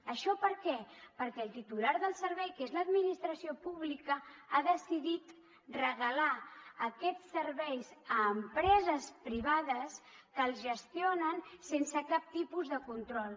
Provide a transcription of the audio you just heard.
això per què perquè el titular del servei que és l’administració pública ha decidit regalar aquests serveis a empreses privades que els gestionen sense cap tipus de control